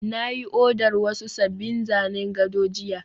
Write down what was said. na yi odar wasu sabbin zanen gado jiya